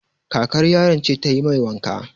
Kakar yaron ce ta yi mai wanka.